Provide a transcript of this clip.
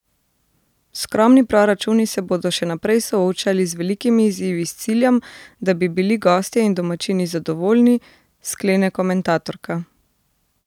Skromni proračuni se bodo še naprej soočali z velikimi izzivi s ciljem, da bi bili gostje in domačini zadovoljni, sklene komentatorka.